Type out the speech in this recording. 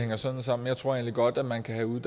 hænger sådan sammen jeg tror egentlig godt at man kan have